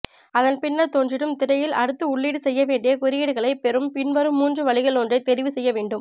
அதன்பின்னர் தோன்றிடும் திரையில் அடுத்து உள்ளீடு செய்ய வேண்டிய குறியீடுகளை பெறும் பின்வரும் மூன்று வழிகளிலொன்றை தெரிவுசெய்யவேண்டும்